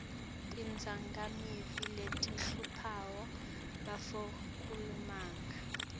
tidzakamiva letihlupha bafundzi kulamalanga